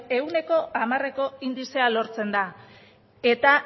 ehuneko hamareko indizea lortzen da eta